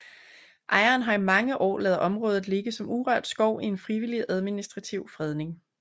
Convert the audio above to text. Ejeren har i mange år ladet området ligge som urørt skov i en frivillig administrativ fredning